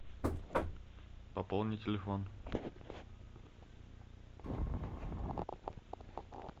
пополни телефон